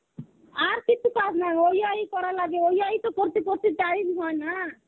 আর কিছু কাজ নাই. ওই এই করা লাগে ওই এই করতে করতে time হয়না.